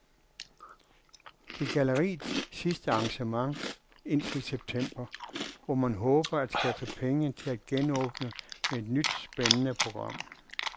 Det er galleriets sidste arrangement indtil september, hvor man håber at skaffe penge til at genåbne med et nyt spændende program.